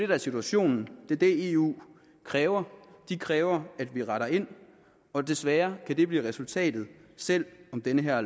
der er situationen det er det eu kræver de kræver at vi retter ind og desværre kan det blive resultatet selv om det her